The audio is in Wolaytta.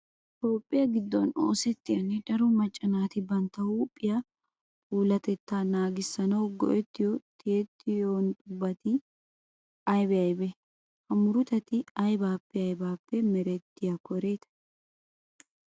Toophphiya giddon oosettiyanne daro macca naati bantta huuphiya puulatettaa nagissanawu go"ettiyo tiyettiyobatinne aybee aybee? Ha murutati aybippe aybippe merettiyakko eray?